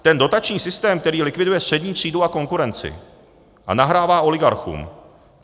Ten dotační systém, který likviduje střední třídu a konkurenci a nahrává oligarchům.